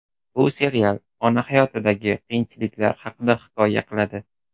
Bu serial ona hayotidagi qiyinchiliklar haqida hikoya qiladi”.